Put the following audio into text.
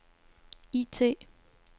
IT